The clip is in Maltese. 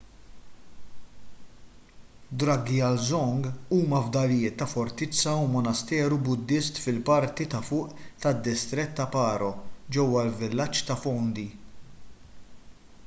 drukgyal dzong huma fdalijiet ta’ fortizza u monasteru buddist fil-parti ta’ fuq tad-distrett ta’ paro ġewwa l-villaġġ ta’ phondey